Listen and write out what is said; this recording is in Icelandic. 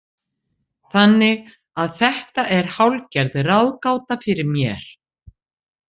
Þannig að þetta er hálfgerð ráðgáta fyrir mér.